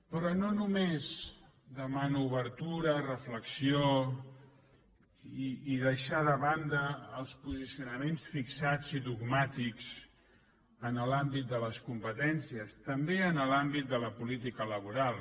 però no només demano obertura reflexió i deixar de banda els posicionaments fixats i dogmàtics en l’àmbit de les competències també en l’àmbit de la política laboral